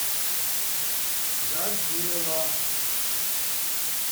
годзилла